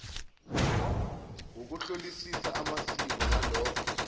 ngokuhlolisisa amasiko nalokho